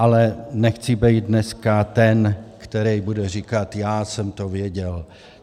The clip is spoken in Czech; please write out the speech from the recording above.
Ale nechci být dneska ten, který bude říkat já jsem to věděl.